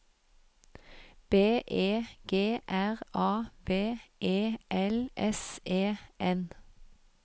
B E G R A V E L S E N